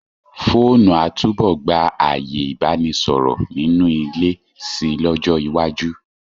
Fóònù a túbọ̀ gba ààyè Ìbánisọ̀rọ̀ nínú ilé si lọ́jọ́ iwájú.